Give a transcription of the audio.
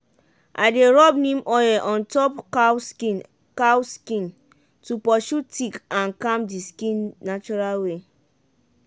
i dey rub neem oil on top cow skin cow skin to pursue tick and calm the skin natural way.